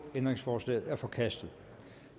ændringsforslaget er forkastet